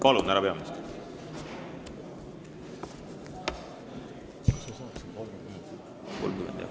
Palun, härra peaminister!